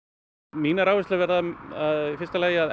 mínar áherslur verða í fyrsta lagi að